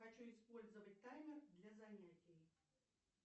хочу использовать таймер для занятий